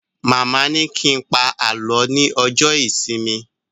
Màmá ni kí n pa alọ ní ọjọ ìsinmi